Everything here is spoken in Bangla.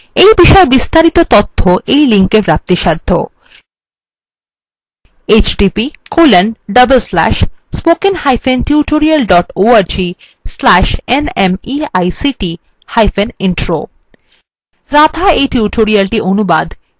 একই উপর আরো তথ্য নিম্নলিখিত link